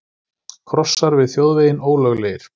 Krossar við þjóðveginn ólöglegir